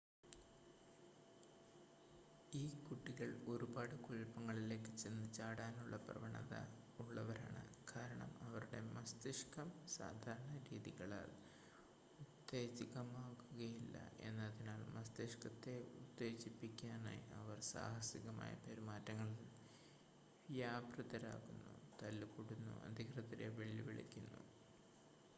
"ഈ കുട്ടികൾ ഒരുപാട് കുഴപ്പങ്ങളിലേക്ക് ചെന്ന് ചാടാനുള്ള പ്രവണത ഉള്ളവരാണ് കാരണം അവരുടെ മസ്തിഷ്കം സാധാരണ രീതികളാൽ ഉത്തേജിതമാകുകയില്ല എന്നതിനാൽ മസ്തിഷ്കത്തെ ഉത്തേജിപ്പിക്കാനായി അവർ "സാഹസികമായ പെരുമാറ്റങ്ങളിൽ വ്യാപൃതരാകുന്നു തല്ല്കൂടുന്നു അധികൃതരെ വെല്ലുവിളിക്കുന്നു""